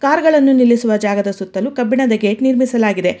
Car ಗಳನ್ನು ನಿಲ್ಲಿಸುವ ಜಾಗದ ಸುತ್ತಲೂ ಕಬ್ಬಿಣದ ಗೆಟ್ ನಿರ್ಮಿಸಲಾಗಿದೆ.